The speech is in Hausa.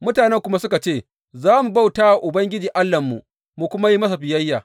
Mutanen kuma suka ce, Za mu bauta wa Ubangiji Allahnmu, mu kuma yi masa biyayya.